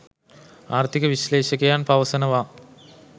ආර්ථික විශ්‍ලේශකයන් පවසනවා.